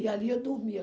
E ali eu dormia.